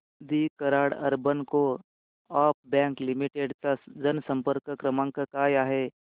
दि Karad urban co-op bank limited चा जनसंपर्क क्रमांक काय आहे